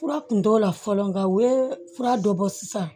Fura kun t'o la fɔlɔ nka u ye fura dɔ bɔ sisan